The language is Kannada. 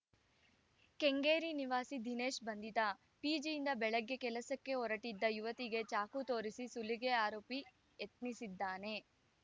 ಕೆಂಗೇರಿ ನಿವಾಸಿ ದಿನೇಶ್‌ ಬಂಧಿತ ಪಿಜಿಯಿಂದ ಬೆಳಗ್ಗೆ ಕೆಲಸಕ್ಕೆ ಹೊರಟ್ಟಿದ್ದ ಯುವತಿಗೆ ಚಾಕು ತೋರಿಸಿ ಸುಲಿಗೆ ಆರೋಪಿ ಯತ್ನಿಸಿದ್ದಾನೆ